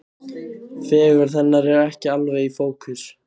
Fegurð hennar er ekki alveg í fókus.